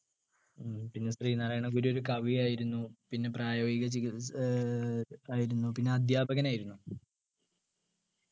ഉം പിന്നെ ശ്രീനാരായണഗുരു ഒരു കവിയായിരുന്നു പിന്നെ പ്രായോഗിക ചികി ഏർ ആയിരുന്നു പിന്നെ അധ്യാപകനായിരുന്നു